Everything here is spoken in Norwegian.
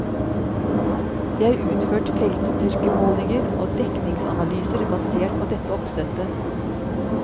Det er utført feltstyrkemålinger og dekningsanalyser basert på dette oppsettet.